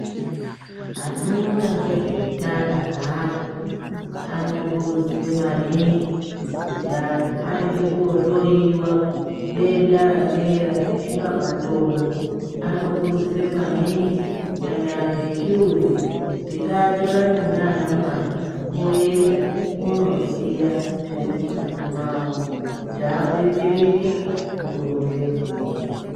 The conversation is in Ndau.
Anoona ngezveutano hwaanhu anokurudzire maningi kuti anhu aende kohloyiwa denda ranera reshuramatongo. Anokurudzira maningi, kunyanya anhu echirume, kuti ngaatorane naanamai oenda onoziya zviri mungazi mwavo kuti adetsereke mukuronge mburi.